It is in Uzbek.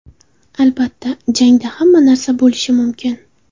Albatta, jangda hamma narsa bo‘lishi mumkin.